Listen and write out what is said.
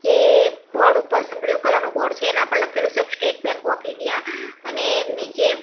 એ board ઉપર blue colour નુ board છે એના પર લખેલુ છે સ્ટેટ બેન્ક ઑફ ઈન્ડિયા અને નીચે--